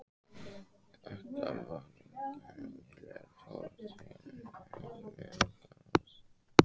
Þetta var engin venjuleg tortryggni í minn garð.